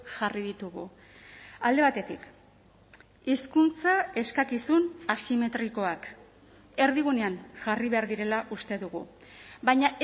jarri ditugu alde batetik hizkuntza eskakizun asimetrikoak erdigunean jarri behar direla uste dugu baina